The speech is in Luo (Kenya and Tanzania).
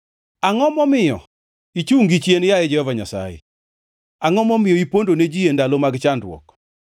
Angʼo momiyo ichungʼ gichien, yaye Jehova Nyasaye? Angʼo momiyo ipondo ne ji e ndalo mag chandruok?